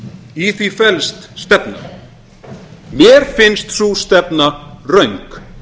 í því felst stefna mér finnst sú stefna röng